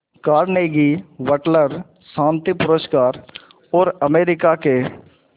Carnegie Wateler शांति पुरस्कार और अमेरिका के